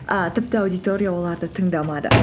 і тіпті аудитория оларды тыңдамады